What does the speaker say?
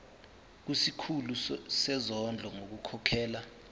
kusikhulu sezondlo ngokukhokhela